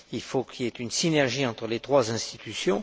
Il faut qu'il y ait une synergie entre les trois institutions